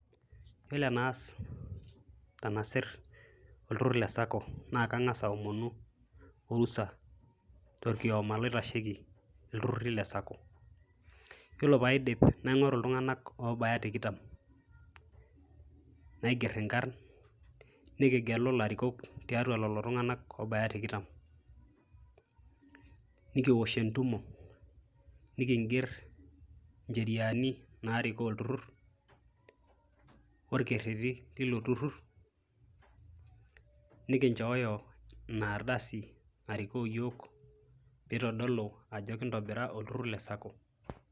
Yiolo enaas tenasir oltur le SACCO , naa kangas aomonu orusa torkioma loitasheiki ,iltururi le SACCO . yiolo paidipnaingoru iltunganak obaya tikitam naiger inkarn, nikigelu ilarikok , tiatua lelo tunganak obaya tikitam . Nikiwosh entumo, nikinger incheriani narikoo olturur ,orkereti lilo turur , nikinchooyo ina ardasi narikoo iyioo pee itodolu ajo kintobira olturur le SACCO.